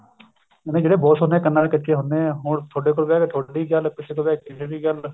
ਜਿਵੇਂ ਜਿਹੜੇ ਬਹੁਤ ਹੁਨੇ ਆ ਕੰਨਾ ਦੇ ਕੱਚੇ ਹੁਨੇ ਆ ਤੁਹਾਡੇ ਕੋਲ ਬੈਠ ਕੇ ਤੁਹਾਡੀ ਗੱਲ ਕਿਸੇ ਕੋਲ ਬਿਹ ਕੇ ਕਿਸੇ ਦੀ ਗੱਲ